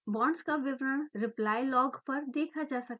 bonds का विवरण reply log पर देखा जा सकता है